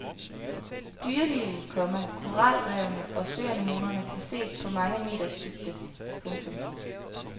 Dyrelivet, komma koralrevene og søanemonerne kan ses på mange meters dybde. punktum